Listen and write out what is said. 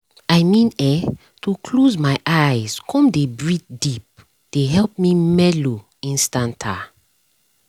i mean[um]to close my eyes come dey breath deep dey help me mellow instanta